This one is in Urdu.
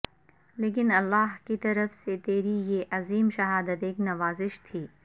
لیکن اللہ کی طرف سے تیری یہ عظیم شہادت ایک نوازش تھی